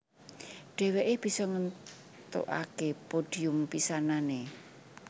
Dhèwèké bisa ngèntukaké podhium pisanané